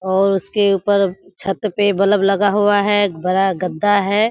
और उसके उपर छत पे बल्ब लगा हुआ है। एक बड़ा गद्दा है।